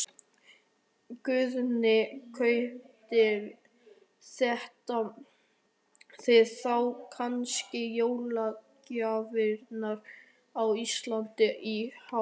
Guðný: Kaupið þið þá kannski jólagjafirnar á Íslandi í ár?